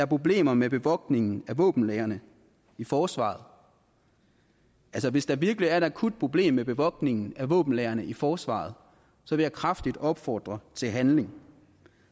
problemer med bevogtningen af våbenlagrene i forsvaret hvis der virkelig er et akut problem med bevogtningen af våbenlagrene i forsvaret vil jeg kraftigt opfordre til handling